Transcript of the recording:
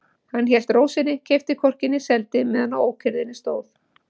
Hann hélt ró sinni, keypti hvorki né seldi meðan á ókyrrðinni stóð.